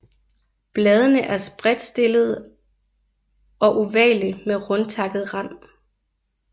Bladene er spredtstillede og ovale med rundtakket rand